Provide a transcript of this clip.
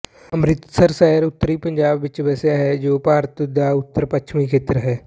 ਅੰਮ੍ਰਿਤਸਰ ਸ਼ਹਿਰ ਉੱਤਰੀ ਪੰਜਾਬ ਵਿੱਚ ਵੱਸਿਆ ਹੈ ਜੋ ਭਾਰਤ ਦਾ ਉੱਤਰ ਪੱਛਮੀ ਖੇਤਰ ਹੈ